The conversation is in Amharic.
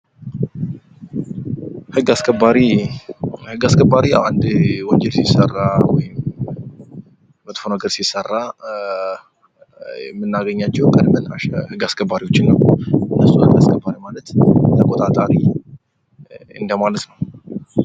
ህግ አስከባሪ፦ ህግ አስከባሪ አንድ ወንጀል ሲሰራ ፣መጥፎ ነገር ሲሰራ የምናገኛቸው ህግ አስከባሪ ናቸው። ህግ አስከባሪ ማለት ተቆጣጣሪ እንደማለት ነው።